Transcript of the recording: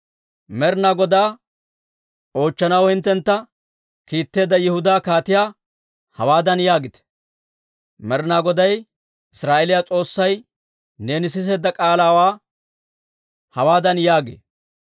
«Med'inaa Godaa oochchanaw hinttentta kiitteedda Yihudaa kaatiyaa hawaadan yaagite; ‹Med'inaa Goday Israa'eeliyaa S'oossay neeni siseedda k'aalaawaa hawaadan yaagee;